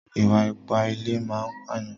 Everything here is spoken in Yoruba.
Ìwà ipá nínú ilé máa ń pàyàn.